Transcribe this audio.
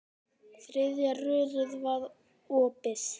Þriðja rörið var opið.